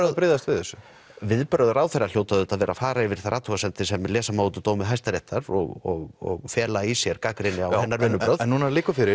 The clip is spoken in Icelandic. að bregðast við þessu viðbrögð ráðherra hljóta að vera að fara yfir þær athugasemdir sem lesa má úr dómi Hæstaréttar og fela í sér gagnrýni á hennar vinnubrögð en núna liggur fyrir